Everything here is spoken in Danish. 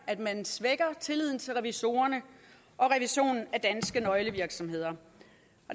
at man svækker tilliden til revisorerne og revisionen af danske nøglevirksomheder